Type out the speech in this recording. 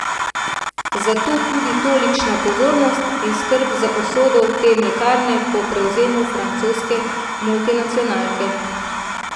Zato tudi tolikšna pozornost in skrb za usodo te mlekarne po prevzemu francoske multinacionalke.